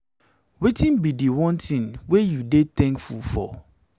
wetin be di one thing wey you dey thankful now?